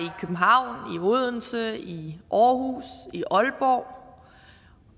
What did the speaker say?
odense i aarhus i aalborg